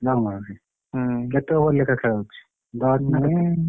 Long boundary କେତେ over ଲେଖାଏ ଖେଳ ହଉଛି?